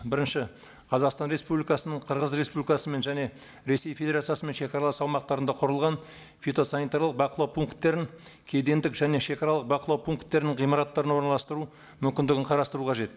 бірінші қазақстан республикасының қырғыз республикасымен және ресей федерациясымен шегаралас аумақтарында құрылған фитосанитарлық бақылау пункттерін кедендік және шегаралық бақылау пункттерінің ғимараттарына орналастыру мүмкіндігін қарастыру қажет